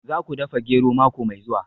Za ku dafa gero mako mai zuwa